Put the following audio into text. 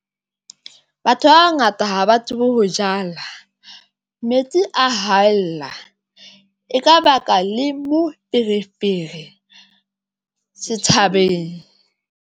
Batho ba bangata ha ba tsebe ho jala metsi a haella eka baka le moferefere setjhabeng.